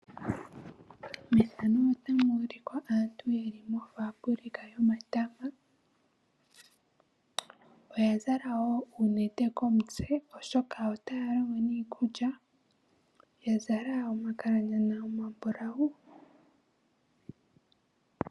Aantu oye li mofabulika yomatama. Oya zala wo uunete komitse, oshoka otaya longo niikulya. Oya zala omakalanyana omambulawu.